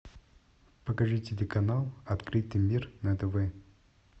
покажи телеканал открытый мир на тв